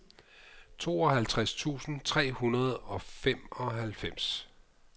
tooghalvtreds tusind tre hundrede og femoghalvfems